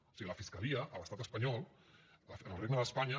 o sigui la fiscalia a l’estat espanyol en el regne d’espanya